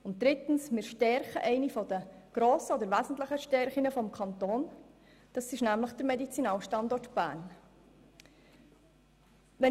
Und drittens stärken wir eine der grossen und wesentlichen Stärken des Kantons: den Medizinalstandort Bern.